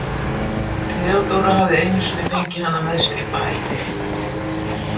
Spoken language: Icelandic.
Theodóra hafði einu sinni fengið hana með sér í bæ.